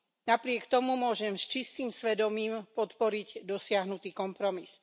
Napriek tomu môžem s čistým svedomím podporiť dosiahnutý kompromis.